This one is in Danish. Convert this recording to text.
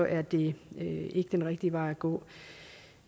er det ikke den rigtige vej at gå